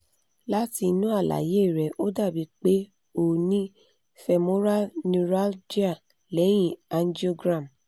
lati inu alaye re o dabi pe o o ni femoral neuralgia lehin angiogram